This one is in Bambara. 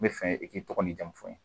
N bɛ fɛ i k'i tɔgɔ n'i jamu fɔ n ye